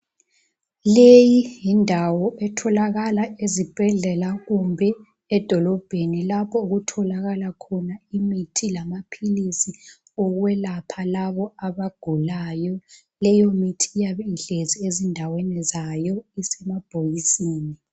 Leyi yindawo etholakala ezibhedlela kumbe edolobheni lapho okutholakala khona imithi lamaphilisi okwelapha labo abagulayo leyo mithi iyabe ihlezi ezindaweni zayo isemabhokisini.